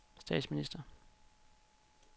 statsminister